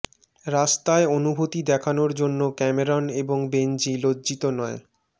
রাস্তায় অনুভূতি দেখানোর জন্য ক্যামেরন এবং বেনজি লজ্জিত নয়